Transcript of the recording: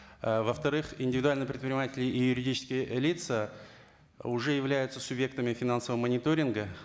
ы во вторых индивидуалные предприниматели и юридические лица уже являются субъектами финансового мониторинга